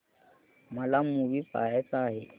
मला मूवी पहायचा आहे